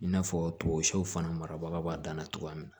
I n'a fɔ fana marabaga b'a dan na cogoya min na